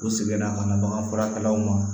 U seginna ka na baganfurakɛlaw ma